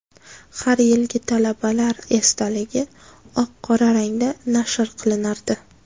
Har yilgi talabalar esdaligi oq-qora rangda nashr qilinardi.